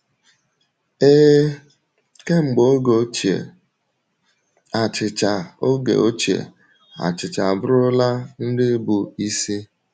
Ee, kemgbe oge ochie, achịcha oge ochie, achịcha abụrụla nri bụ isi.